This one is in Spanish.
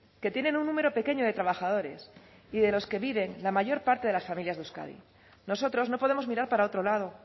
que tienen un número pequeño de trabajadores y de los que vive la mayor parte de las familias de euskadi nosotros no podemos mirar para otro lado